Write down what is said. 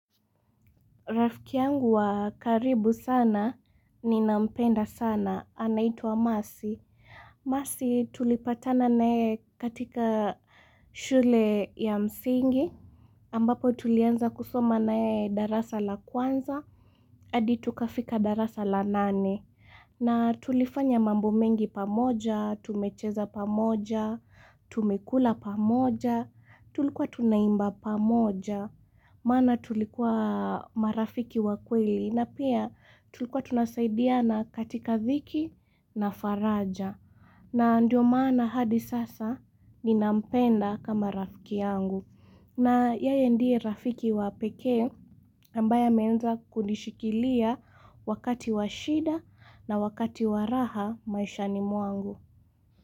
Rafiki yangu wa karibu sana ninampenda sana anaitwa Mercy. Mercy, tulipatana naye katika shule ya msingi ambapo tulianza kusoma naye darasa la kwanza. Hadi tukafika darasa la nane, na tulifanya mambo mengi pamoja, tumecheza pamoja, tumekula pamoja, tulikuwa tunaimba pamoja, maana tulikuwa marafiki wa kweli. Na pia tulikuwa tunasaidiana katika dhiki na faraja. Na ndio maana hadi sasa ninampenda kama rafiki yangu na yeye ndiye rafiki wa pekee. Ambaye anaweza kunishikilia wakati wa shida na wakati wa raha maishani mwangu.